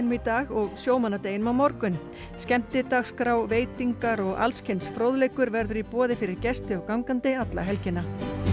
í dag og sjómannadeginum á morgun skemmtidagskrá veitingar og alls kyns fróðleikur verður í boði fyrir gesti og gangandi alla helgina